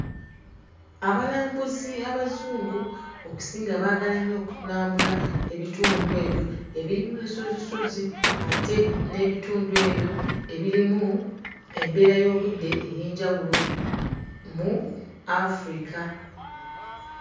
Abalambuzi Abazungu okusinga baagala nnyo okulambula ebitundu ebyo ebirimu ensozisozi ate n'ebitundu ebyo ebirimu embeera y'obudde ey'enjawulo mu Afirika.